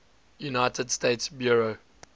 united states bureau